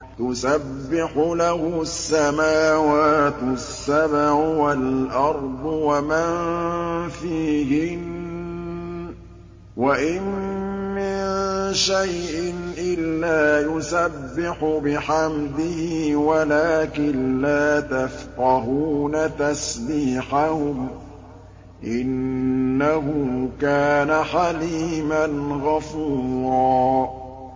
تُسَبِّحُ لَهُ السَّمَاوَاتُ السَّبْعُ وَالْأَرْضُ وَمَن فِيهِنَّ ۚ وَإِن مِّن شَيْءٍ إِلَّا يُسَبِّحُ بِحَمْدِهِ وَلَٰكِن لَّا تَفْقَهُونَ تَسْبِيحَهُمْ ۗ إِنَّهُ كَانَ حَلِيمًا غَفُورًا